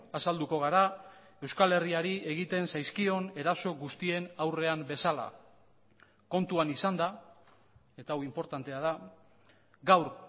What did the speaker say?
azalduko gara euskal herriari egiten zaizkion eraso guztien aurrean bezala kontuan izanda eta hau inportantea da gaur